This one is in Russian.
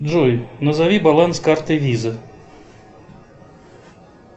джой назови баланс карты виза